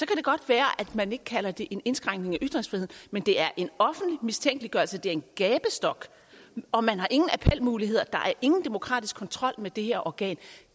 det godt være at man ikke kalder det en indskrænkning af ytringsfriheden men det er en offentlig mistænkeliggørelse det er en gabestok og man har ingen appelmuligheder der er ingen demokratisk kontrol med det her organ